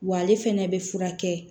Wa ale fɛnɛ be furakɛ